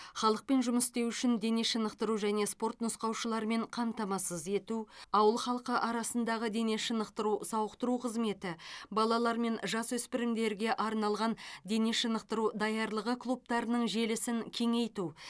халықпен жұмыс істеу үшін дене шынықтыру және спорт нұсқаушыларымен қамтамасыз ету ауыл халқы арасындағы дене шынықтыру сауықтыру қызметі балалар мен жасөспірімдерге арналған дене шынықтыру даярлығы клубтарының желісін кеңейту